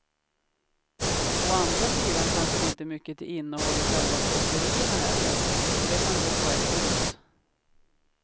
Å andra sidan kanske det inte är mycket till innehåll i själva kåserierna heller, så det kan gå på ett ut.